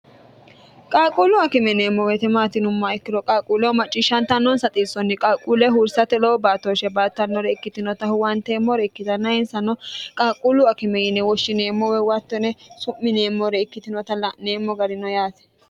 qaaqquulu akime yineemmo woyeete maati yinummo ikkiro qaaqquuleho macciishshantannoonsa xissonni qaaquule huursate lowo baatooshshe baattannore ikkitinota huwanteemmore ikkitanna insano qaaqquulu akime yine woshshineemmo woye hatto yine su'mineemmore ikkitinota la'neemmo garino yaate